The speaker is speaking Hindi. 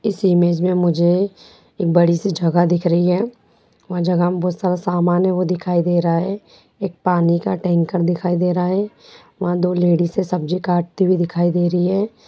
इस इमेज मे मुझे एक बड़ी सी जगह दिख रही है वो जगह मे बहुत सारा समान भी दिखाई दे रहा है एक पानी का टैंकर दिखाई दे रहा है दो लेडिसे सब्जी काटते हुए दिखाई दे रही है।